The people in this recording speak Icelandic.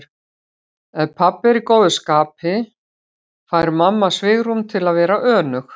Ef pabbi er í góðu skapi fær mamma svigrúm til að vera önug.